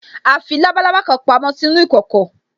A fi labalábá kan pamo sínú ìkòkò